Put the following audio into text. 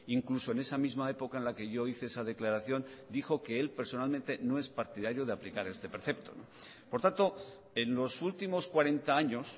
incluso en esa misma época en la que yo hice esa declaración dijo que él personalmente no es partidario de aplicar este precepto por tanto en los últimos cuarenta años